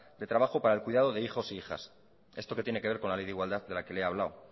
de trabajo para el cuidado de hijos e hijas esto que tiene que ver con la ley de igualdad de la que le he hablado